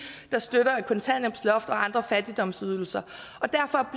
der støtter et kontanthjælpsloft og andre fattigdomsydelser og derfor